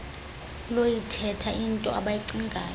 lokuyithetha intoi abayicingayo